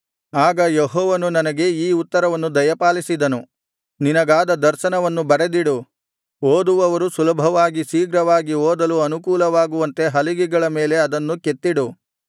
ಆಗ ಯೆಹೋವನು ನನಗೆ ಈ ಉತ್ತರವನ್ನು ದಯಪಾಲಿಸಿದನು ನಿನಗಾದ ದರ್ಶನವನ್ನು ಬರೆದಿಡು ಓದುವವರು ಸುಲಭವಾಗಿ ಶೀಘ್ರವಾಗಿ ಓದಲು ಅನುಕೂಲವಾಗುವಂತೆ ಹಲಿಗೆಗಳ ಮೇಲೆ ಅದನ್ನು ಕೆತ್ತಿಡು